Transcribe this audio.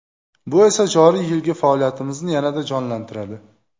Bu esa joriy yilgi faoliyatimizni yanada jonlantiradi.